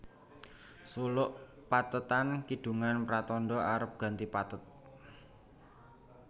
Suluk pathetan kidungan pratandha arep ganti pathet